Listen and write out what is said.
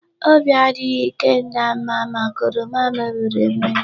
Obi adịghị Ikenna mma maka oroma mebiri emebi.